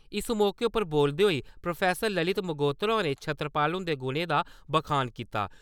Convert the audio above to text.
इस मौके उप्पर बोलदे होई प्रो. ललित मंगोत्रा होरें छतरपाल हुंदे गुणें दा बखान कीता।